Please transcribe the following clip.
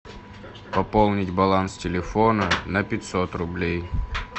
пополнить баланс телефона на пятьсот рублей